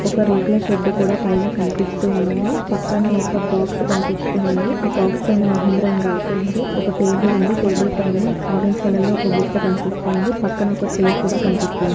ఒక రేకుల షెడ్ కూడా పైన కనిపిస్తూ ఉంది పక్కన ఒక బాక్స్ కనిపిస్తూ ఉంది ఆ బాక్స్ పైన మహేంద్ర అని రాసి ఉంది ఒక టేబుల్ ఉంది ఆ టేబుల్ పైన ఆరెంజ్ కలర్ లో ఒక బుట్ట కనిపిస్తూ ఉంది పక్కన ఒక చైర్ కూడా కనిపిస్తుంది.